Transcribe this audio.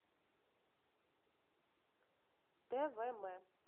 твм